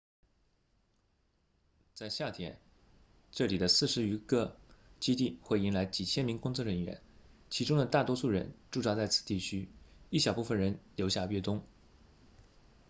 在夏天这里的四十余个基地会迎来几千名工作人员其中的大多数人驻扎在此地区一小部分人留下越冬